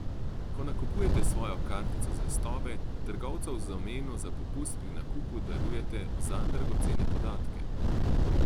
Ko nakupujete s svojo kartico zvestobe, trgovcu v zameno za popust pri nakupu darujete zanj dragocene podatke.